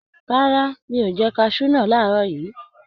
Rárá, mi ò jẹ kaṣú náà làárọ̀ yìí.